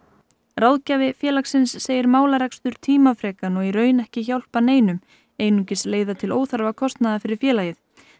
ráðgjafi félagsins segir málarekstur tímafrekan og í raun ekki hjálpa neinum einungis leiða til óþarfa kostnaðar fyrir félagið